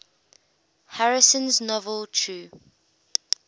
harrison's novel true